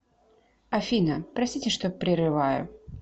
афина простите что прерываю